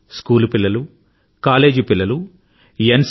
school పిల్లలు college పిల్లలు ఎన్